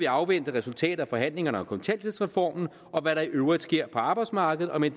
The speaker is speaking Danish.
afvente resultatet af forhandlingerne om kontanthjælpsreformen og hvad der i øvrigt sker på arbejdsmarkedet og med